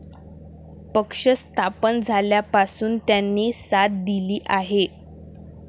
पक्ष स्थापन झाल्यापासून त्यांनी साथ दिली आहे.